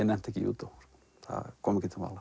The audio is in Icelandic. nennti ekki í júdó það kom ekki til mála